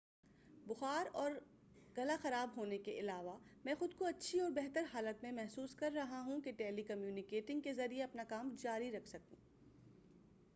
بُخار اور خراب گلا ہونے کے علاوہ مَیں خُود کو اچھی اور بہتر حالت میں محسوس کررہا ہوں کہ ٹیلی کمیوٹنگ کے ذریعے اپنا کام جاری رکھ سکوں